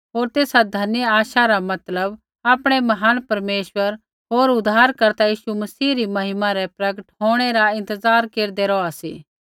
होर तेसा धन्य आशा री मतलब आपणै महान परमेश्वर होर उद्धारकर्ता यीशु मसीह री महिमा रै प्रगट होंणै रा इंतज़ार केरदै रौहा सी